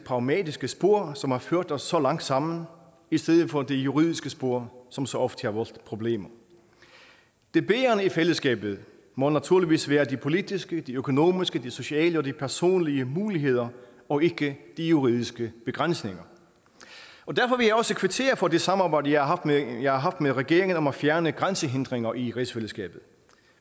pragmatiske spor som har ført os så langt sammen i stedet for det juridiske spor som så ofte giver os problemer det bærende i fællesskabet må naturligvis være de politiske de økonomiske de sociale og de personlige muligheder og ikke de juridiske begrænsninger derfor vil jeg også kvittere for det samarbejde jeg har jeg har haft med regeringen om at fjerne grænsehindringer i rigsfællesskabet